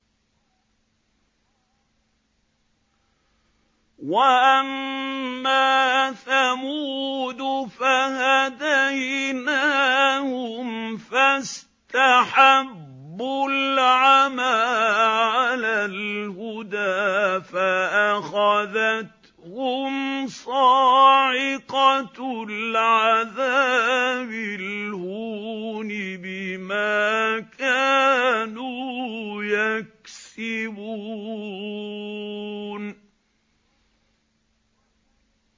وَأَمَّا ثَمُودُ فَهَدَيْنَاهُمْ فَاسْتَحَبُّوا الْعَمَىٰ عَلَى الْهُدَىٰ فَأَخَذَتْهُمْ صَاعِقَةُ الْعَذَابِ الْهُونِ بِمَا كَانُوا يَكْسِبُونَ